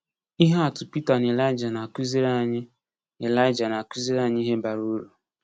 Ihe atụ Pita na Elija na-akụziri anyị Elija na-akụziri anyị ihe bara uru.